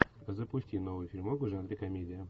запусти новый фильмок в жанре комедия